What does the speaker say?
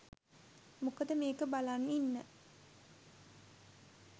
මොකද මේක බලන් ඉන්න